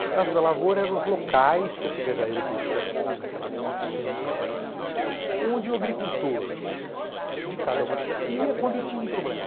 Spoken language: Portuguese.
As Casas da Lavoura eram os locais que a Secretaria tinha naquela, quatrocentos e tanto, onde o agricultor de cada uma das ia quando tinha um problema.